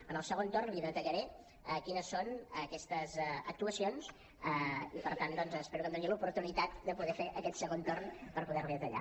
en el segon torn li detallaré quines són aquestes actuacions i per tant doncs espero que em doni l’oportunitat de poder fer aquest segon torn per poder les hi detallar